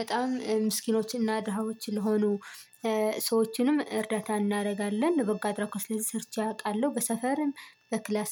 በጣም ምስኪኖችን እና ድሃዎችን ለሆኑ ሰዎችንም እርዳታ እናረጋለን። በበጎ አድራጎች ስለዚህ ሰርቼ አውቃለው። በሰፈርም በክላስም